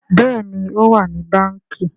Béèni o wá ní Bánkì.